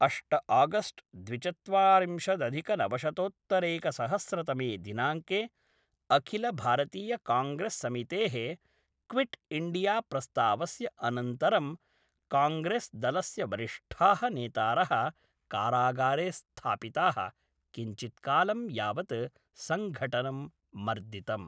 अष्ट आगस्ट् द्विचत्वारिंशदधिकनवशतोत्तरैकसहस्रतमे दिनाङ्के, अखिलभारतीयकाङ्ग्रेस्समितेः क्विट्इण्डियाप्रस्तावस्य अनन्तरं काङ्ग्रेस्दलस्य वरिष्ठाः नेतारः कारागारे स्थापिताः, किञ्चित्कालं यावत् सङ्घटनं मर्दितम्।